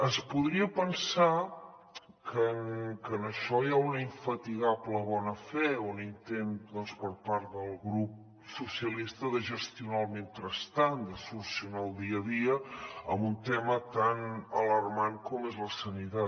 es podria pensar que en això hi ha una infatigable bona fe un intent doncs per part del grup socialistes de gestionar el mentrestant de solucionar el dia a dia en un tema tan alarmant com és la sanitat